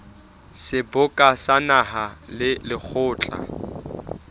seboka sa naha le lekgotla